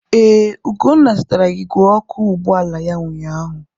Ee, Ugonna zụtara igwe ọkụ ụgbọala ya ụnyaahụ.